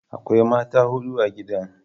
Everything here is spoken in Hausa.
Akwai mata hudu a gidan.